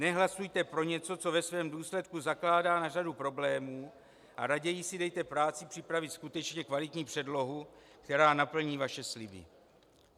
Nehlasujte pro něco, co ve svém důsledku zakládá na řadu problémů, a raději si dejte práci připravit skutečně kvalitní předlohu, která naplní vaše sliby.